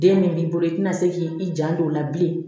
Den min b'i bolo i tina se k'i janto o la bilen